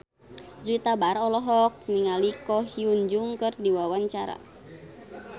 Juwita Bahar olohok ningali Ko Hyun Jung keur diwawancara